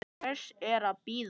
Hvers er að bíða?